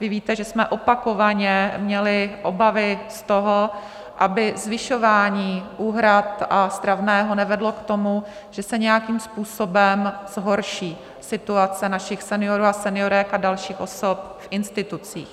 Vy víte, že jsme opakovaně měli obavy z toho, aby zvyšování úhrad a stravného nevedlo k tomu, že se nějakým způsobem zhorší situace našich seniorů a seniorek a dalších osob v institucích.